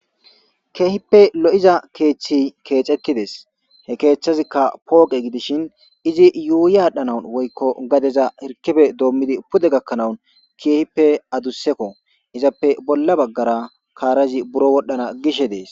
Kehippe loi'za keththazi kexetides he kethazuka poqe gidishin izi yuyi adhdhanw gadezan adusekko izappe bolla bagara karazi buro wodhana gishe des.